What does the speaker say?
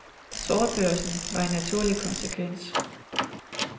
Sortbørsen var en naturlig konsekvens.